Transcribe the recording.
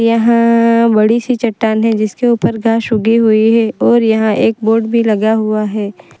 हां बड़ी सी चट्टान है जिसके ऊपर घास उगी हुई है और यहां एक बोर्ड भी लगा हुआ है।